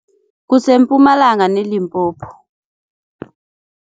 KuseMpumalanga neLimpopo.